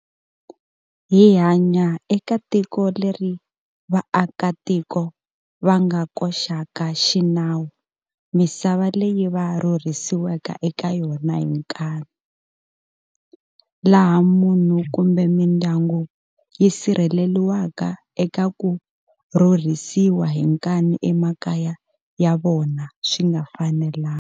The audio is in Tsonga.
Hi hanya eka tiko leri vaakatiko va nga koxaka xinawu misava leyi va rhurisiweke eka yona hi nkanu, laha munhu kumbe mindyangu yi sirheleriwaka eka ku rhurisiwa hi nkanu emakaya ya vona swi nga fanelanga.